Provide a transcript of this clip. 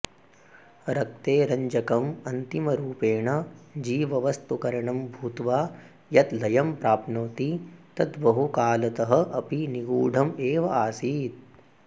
रक्ते रञ्जकम् अन्तिमरूपेण जीववस्तुकरणं भूत्वा यत् लयं प्राप्नोति तत् बहुकालतः अपि निगूढम् एव आसीत्